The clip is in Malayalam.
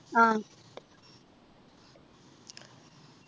ആഹ്